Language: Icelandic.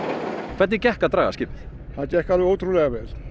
hvernig gekk að draga skipið það gekk alveg ótrúlega vel